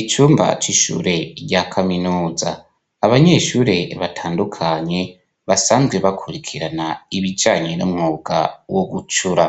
icumba c'ishure rya kaminuza abanyeshure batandukanye basanzwe bakurikirana ibijanye n'umwuga wo gucura